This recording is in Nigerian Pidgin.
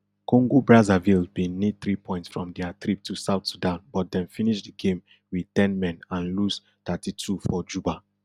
congobrazzaville bin need three points from dia trip to south sudan but dem finish di game wit ten men and lose thirty-two for juba